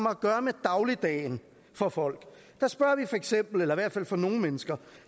at gøre med dagligdagen for folk eller i hvert fald for nogle mennesker